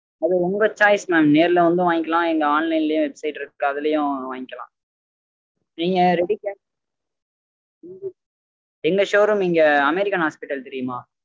அது உங்க choice mam நேர்ல வந்தும் வங்கிக்கலாம் இல்ல online லயும் website இருக்கு அதுலயும் வாங்கிக்கலாம். நீங்க ready cash எங்க showroom இங்க american hospital தெரியுமா?